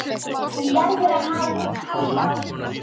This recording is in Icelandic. Hún verður að halda áfram.